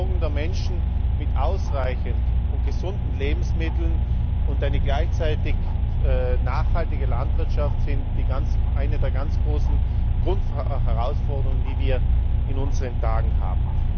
Die Versorgung der Menschen mit ausreichend und gesunden Lebensmitteln und eine gleichzeitig nachhaltige Landwirtschaft sind eine der ganz großen Grundherausforderungen, die wir in unseren Tagen haben.